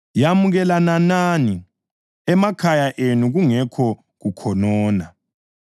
Yamukelanani emakhaya enu kungekho kukhonona.